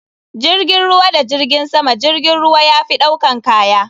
jirgin ruwa da jirgin sama jirgin ruwa yafi ɗaukan kaya.